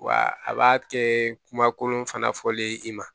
Wa a b'a kɛ kumakolon fana fɔlen i ma